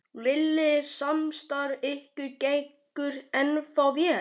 Lillý: Samstarf ykkar gengur ennþá vel?